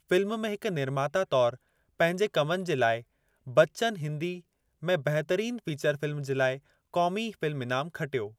Film में हिकु निर्माता तौरु पंहिंजे कमनि जे लाइ, बच्चन हिंदी में बहितरीन फ़िचर फ़िल्मु जे लाइ क़ौमी फ़िल्मु ईनामु खटियो।